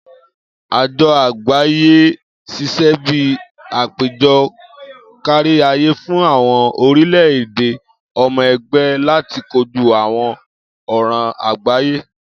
Ajo Agbaye ṣiṣẹ bi apejọ kariaye fun awọn orilẹ-ede ọmọ ẹgbẹ lati koju awọn ọran agbaye.